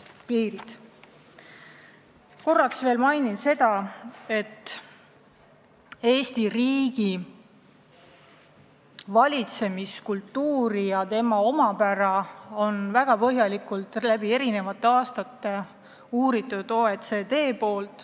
Märgin veel seda, et Eesti riigi valitsemiskultuuri ja selle omapära on väga põhjalikult eri aastatel uurinud OECD.